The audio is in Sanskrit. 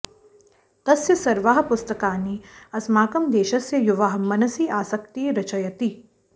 तस्य सर्वाः पुस्तकानि अस्माकम् देशस्य् युवाः मनसि आस्क्ति रचयति